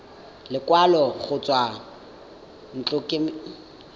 lekwalo go tswa ntlokemeding kgotsa